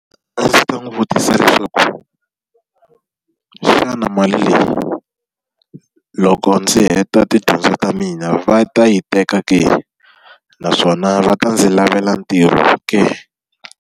A ndzi ta n'wi vutisa leswaku, xana mali leyi loko ndzi heta tidyondzo ta mina va ta yi teka ke, naswona va ta ndzi lavela ntirho ke?